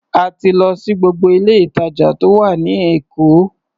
A ti lọ sí gbogbo ilé-ìtàjà tó wà ní Èkó.